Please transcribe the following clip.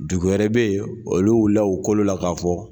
Dugu wɛrɛ bɛ yen olu wulila u kolo la k'a fɔ